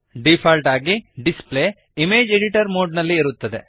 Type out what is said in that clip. default ಆಗಿ display image editor mode ನಲ್ಲಿ ಇರುತ್ತದೆ